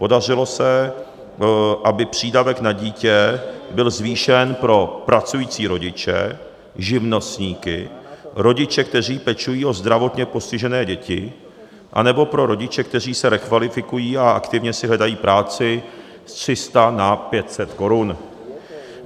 Podařilo se, aby přídavek na dítě byl zvýšen pro pracující rodiče, živnostníky, rodiče, kteří pečují o zdravotně postižené děti anebo pro rodiče, kteří se rekvalifikují a aktivně si hledají práci, z 300 na 500 korun.